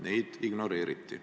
Meid ignoreeriti.